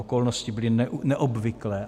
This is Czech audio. Okolnosti byly neobvyklé.